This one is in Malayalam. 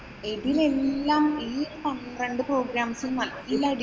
ഇതിനെല്ലാം ഈ പന്ത്രണ്ടു programs ഉം നല്ല